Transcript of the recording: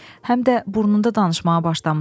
Həm də burnunda danışmağa başlamısan.